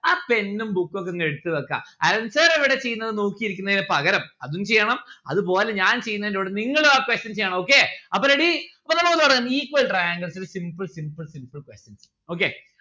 ആ pen ഉം book ഒക്കെ നിങ്ങൾ എടുത്ത് വെക്ക അരുൺ sir എവിടെ ചെയ്യുന്നത് നോക്കി ഇരിക്കുന്നേൻ പകരം അതും ചെയ്യണം അത് പോലെ ഞാൻ ചെയ്യുന്നെനോട് നിങ്ങളു ആ questions ചെയ്യണം. okay അപ്പൊ ready അപ്പൊ നമ്മുക്ക് തുടങ്ങാം equal triangles ല് simple simple simple questions okay